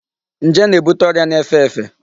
Njé na-ebute ọrịa na-efe efe.